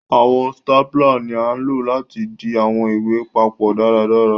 Àwọn stapler ní a ló láti dì àwọn ìwé papó dáradára.